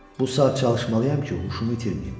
Bu saat çalışmalıyam ki, huşumu itirməyim.